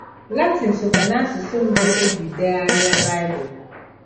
Latịn sokwa n’asụsụ mbụ e ji degharịa Baịbụl.